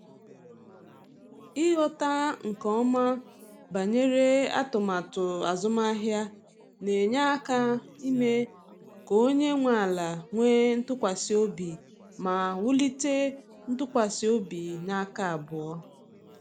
Ighọta nke ọma banyere atụmatụ azụmahịa na-enye aka ime ka onye nwe ala nwee ntụkwasị obi ma wulite ntụkwasị obi n’aka abụọ.